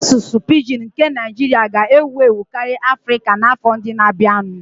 Asụsụ pidgin nke Naijiria ga-ewu ewu karịa Afrika n'afọ ndị na-abịanụ